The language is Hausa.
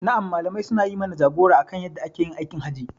Na'am Malamai suna yi mana jagora akan yadda ake aikin hajji.